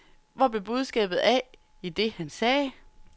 Hvor blev budskabet af i det, han sagde?